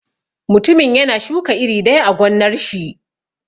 Mutumin yana shuka iri daya a gonnar shi.